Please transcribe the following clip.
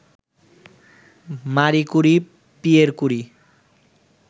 মারি Curie, Pierre কুরি